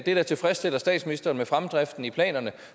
der tilfredsstiller statsministeren med fremdriften i planerne